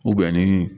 ni